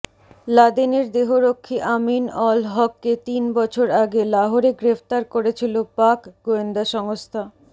লাদেনের দেহরক্ষী Amin al হককে তিন বছর আগে লাহোরে গ্রেফতার করেছিল পাক গোয়েন্দা সংস্থা